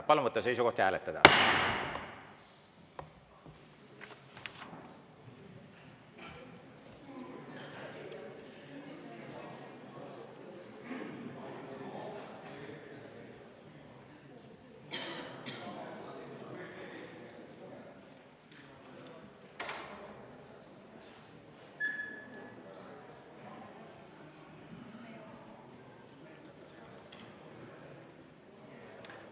Palun võtta seisukoht ja hääletada!